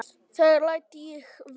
Það læt ég vera